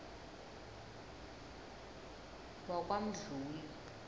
wakwamdluli